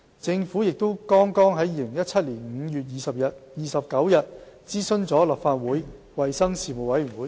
政府也剛於2017年5月29日諮詢了立法會衞生事務委員會。